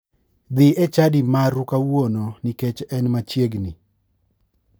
Adhi e chadi maru kawuono nikech en machiegini.